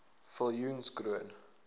viljoenskroon